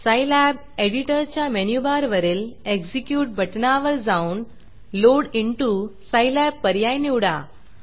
Scilab एडिटरच्या मेनूबारवरील execute बटणावर जाऊन लोड intoलोड इंटू सायलॅब पर्याय निवडा